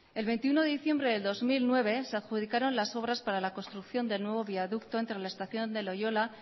el veintiuno de diciembre de dos mil nueve se adjudicaron las obras para la construcción del nuevo viaducto entre la estación de loiola